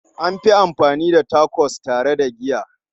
An fi amfani da Tacos tare da giya.